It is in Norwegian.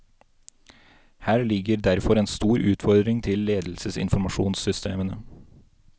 Her ligger derfor en stor utfordring til ledelsesinformasjonssystemene.